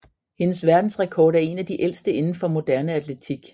Hendes verdensrekord er en af de ældste indenfor moderne atletik